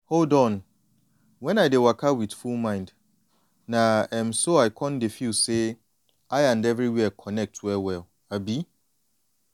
hold on when i dey waka with full mind na um so i dey feel say i and everywhere connect well-well. um